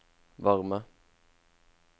varme